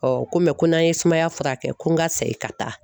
Ɔ ko ko n'an ye sumaya furakɛ ko n ka segin ka taa